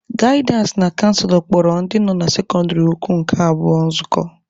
Gaịdịansị na canselọ kpọrọ ndị nọ na sekọndịrị ukwu nke abụọ nzukọ.